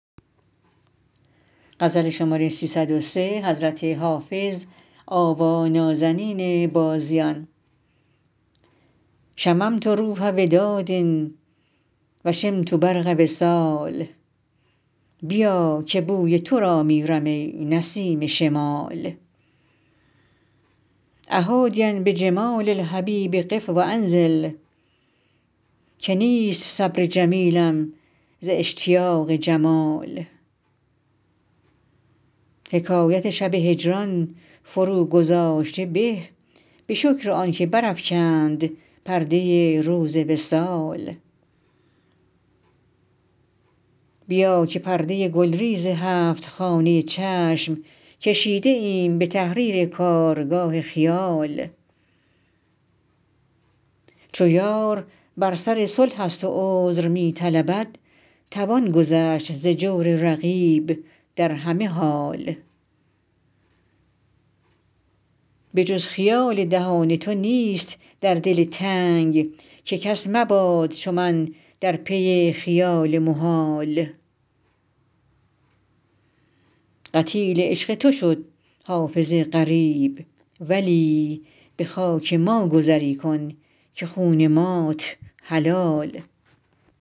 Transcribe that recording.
شممت روح وداد و شمت برق وصال بیا که بوی تو را میرم ای نسیم شمال أ حادیا بجمال الحبیب قف و انزل که نیست صبر جمیلم ز اشتیاق جمال حکایت شب هجران فروگذاشته به به شکر آن که برافکند پرده روز وصال بیا که پرده گلریز هفت خانه چشم کشیده ایم به تحریر کارگاه خیال چو یار بر سر صلح است و عذر می طلبد توان گذشت ز جور رقیب در همه حال به جز خیال دهان تو نیست در دل تنگ که کس مباد چو من در پی خیال محال قتیل عشق تو شد حافظ غریب ولی به خاک ما گذری کن که خون مات حلال